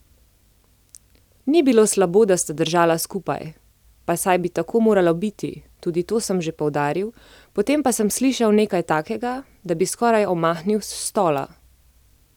Ni bilo slabo, da sta držala skupaj, pa saj bi tako moralo biti, tudi to sem že poudaril, potem pa sem slišal nekaj takega, da bi skoraj omahnil s stola.